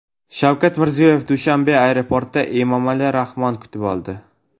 Shavkat Mirziyoyevni Dushanbe aeroportida Emomali Rahmon kutib oldi.